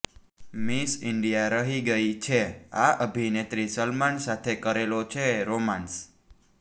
miss India રહી ગઇ છે આ અભિનેત્રી સલમાન સાથે કરેલો છે રોમાંસ